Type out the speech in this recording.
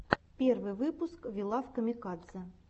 первый выпуск ви лав камикадзе